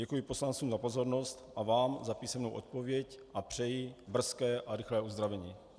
Děkuji poslancům za pozornost a vám za písemnou odpověď a přeji brzké a rychlé uzdravení.